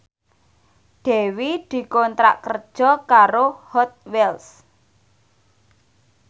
Dewi dikontrak kerja karo Hot Wheels